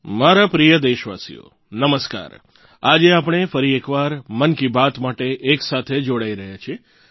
મારા પ્રિય દેશવાસીઓ નમસ્કાર આજે આપણે ફરી એકવાર મન કી બાત માટે એકસાથે જોડાઈ રહ્યા છીએ